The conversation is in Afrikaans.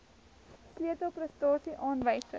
sleutel prestasie aanwysers